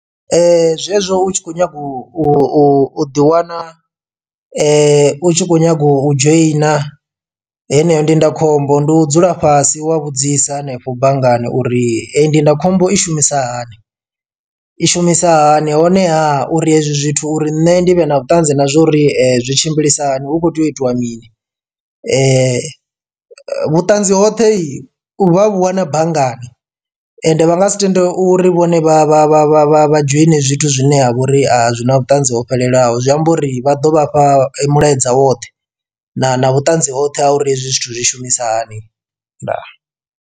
Zwezwo u tshi kho nyaga u ḓi wana u tshi kho nyaga u dzhoina eneyo ndindakhombo ndi u dzula fhasi wa vhudzisa hanefho banngani uri eyi ndindakhombo i shumisa hani, i shumisa hani honeha uri hezwi zwithu uri nṋe ndi vhe na vhuṱanzi na zwa uri zwi tshimbilisa hani hu kho tea u itiwa mini. Vhuṱanzi hoṱhe vha vhu wana banngani ende vha nga si tende uri vhone vha vha vha vha vha vha dzhoine zwithu zwine ha vha uri a zwi na vhuṱanzi ho fhelelaho zwi amba uri vha ḓo vhafha mulaedza woṱhe na na vhuṱanzi hoṱhe ha uri hezwi zwithu zwi shumisa hani ndaa.